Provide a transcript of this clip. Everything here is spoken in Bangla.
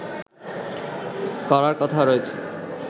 করার কথা রয়েছে